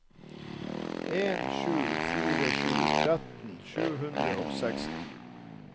en sju fire sju tretten sju hundre og seksten